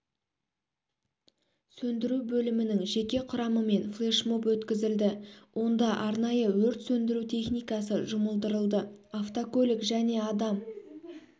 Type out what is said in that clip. сөндіру бөлімінің жеке құрамымен флешмоб өткізілді онда арнайы өрт сөндіру техникасы жұмылдырылды автокөлік және адам